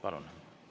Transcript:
Palun!